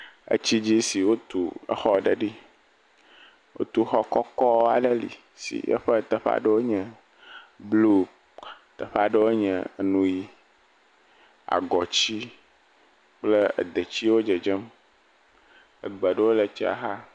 Etsi dzi si wotu exɔ aɖe ɖi, wotu xɔ kɔkɔ aɖe li si eƒe teƒe aɖewo nye blu teƒe aɖewo nye nu ʋi agɔti kple edetiwo dzedzem egbe aɖewo le xɔz xa.